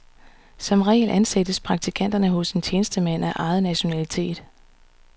Som regel ansættes praktikanterne hos en tjenestemand af egen nationalitet.